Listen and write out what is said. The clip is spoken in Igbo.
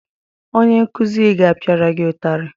Onye nkụzi gị apiara gị utari?